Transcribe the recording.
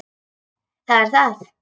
Það er það.